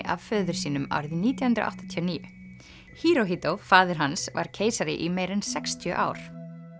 af föður sínum árið nítján hundruð áttatíu og níu faðir hans var keisari í meira en sextíu ár